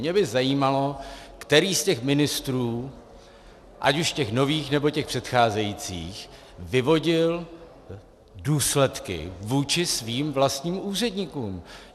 Mě by zajímalo, který z těch ministrů, ať už těch nových, nebo těch předcházejících, vyvodil důsledky vůči svým vlastním úředníkům.